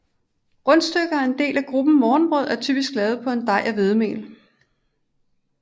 Rundstykker er en del af gruppen morgenbrød og er typisk lavet på en dej af hvedemel